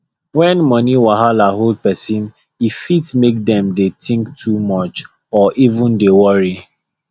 when money wahala hold person e fit make dem dey think too much or even dey worry